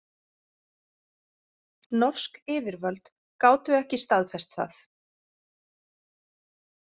Norsk yfirvöld gátu ekki staðfest það